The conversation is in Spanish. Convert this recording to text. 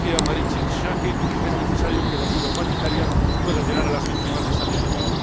Como decía Marietje Schaake, es necesario que la ayuda humanitaria pueda llegar a las víctimas de esa violencia.